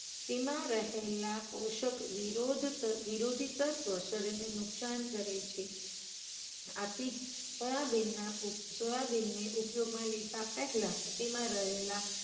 તેમાં રહેલા પોષક વિરોધ તથા વિરોધી તત્વ શરીરને નુકસાન કરે છે. આથી સોયાબીનના સોયાબીન ને ઉપયોગમાં લેતા પહેલા તેમાં રહેલા